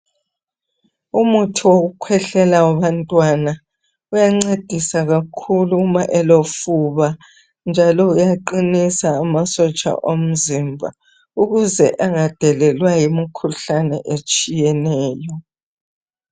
Umuthi wokukhwehlela wabantwana uyancedisa kakhulu uma elofuba njalo uyaqinisa amasotsha omzimba ukuze engadelelwa yimikhuhlane etshiyeneyo.